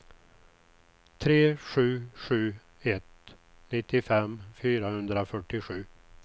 tre sju sju ett nittiofem fyrahundrafyrtiosju